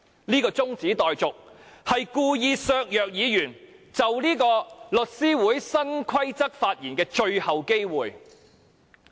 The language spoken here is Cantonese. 這項中止待續議案故意削弱議員就律師會新規則發言的最後機會。